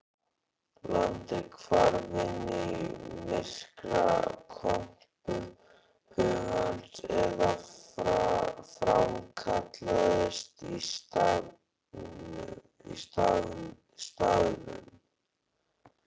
Landið hvarf inn í myrkrakompu hugans eða framkallaðist á staðnum.